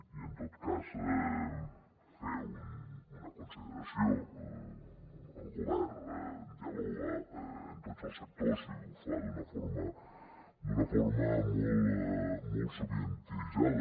i en tot cas fer una consideració el govern dialoga amb tots els sectors i ho fa d’una forma molt sovintejada